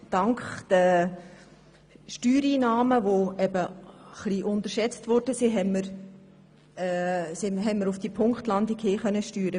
Das heisst, dank der Steuereinnahmen, die etwas unterschätzt wurden, konnten wir diese Punktlandung schaffen.